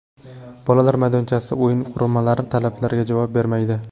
Bolalar maydonchasi, o‘yin qurilmalari talabga javob bermaydi.